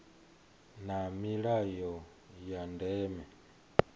na milayo ya ndeme ine